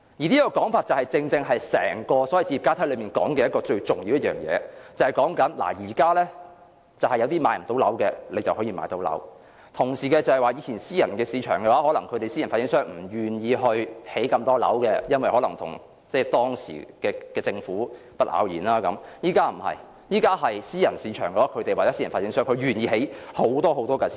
這說法正正點出整個置業階梯的最重要一點，就是現時無法負擔買樓的人將可買到樓，而以往私人市場或私人發展商不願意興建太多樓，也許由於與當時的政府不咬弦，但現時私人市場、私人發展商會願意興建很多私樓。